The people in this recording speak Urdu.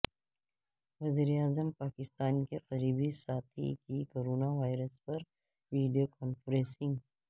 وزیراعظم پاکستان کے قریبی ساتھی کی کورونا وائرس پر ویڈیو کانفرنسنگ